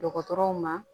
Dɔgɔtɔrɔw ma